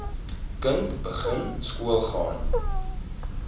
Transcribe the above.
kind begin skoolgaan